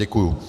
Děkuji.